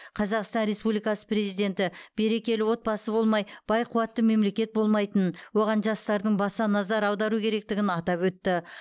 қазақстан республикасы президенті берекелі отбасы болмай бай қуатты мемлекет болмайтынын оған жастардың баса назар аудару керектігін атап өтті